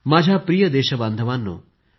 माझ्या प्रिय देशबांधवांनो